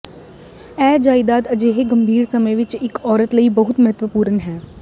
ਇਹ ਜਾਇਦਾਦ ਅਜਿਹੇ ਗੰਭੀਰ ਸਮੇਂ ਵਿਚ ਇਕ ਔਰਤ ਲਈ ਬਹੁਤ ਮਹੱਤਵਪੂਰਨ ਹੈ